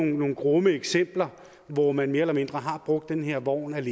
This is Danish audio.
nogle grumme eksempler hvor man mere eller mindre har brugt den her vogn